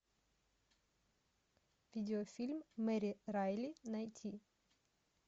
видеофильм мэри райли найти